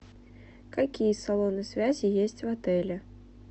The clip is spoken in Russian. какие салоны связи есть в отеле